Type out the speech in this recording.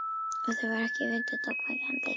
Og þau voru ekki vitund ógnvekjandi.